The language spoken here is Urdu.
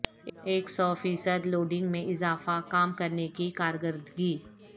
ایک سو فیصد لوڈنگ میں اضافہ کام کرنے کی کارکردگی